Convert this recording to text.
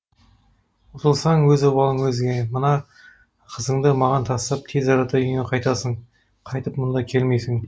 ұтылсаң өз обалың өзіңе мына қызыңды маған тастап тез арада үйіңе қайтасың қайтып мұнда келмейсің